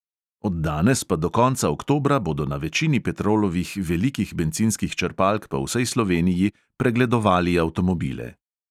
Od danes pa do konca oktobra bodo na večini petrolovih velikih bencinskih črpalk po vsej sloveniji pregledovali avtomobile.